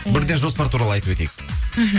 бірден жоспар туралы айтып өтейк мхм